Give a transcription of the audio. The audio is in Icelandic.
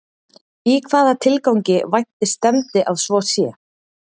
Í hvaða tilgangi vænti stefndi að svo sé?